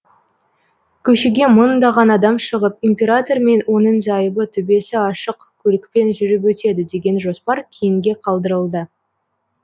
көшеге мыңдаған адам шығып император мен оның зайыбы төбесі ашық көлікпен жүріп өтеді деген жоспар кейінге қалдырылды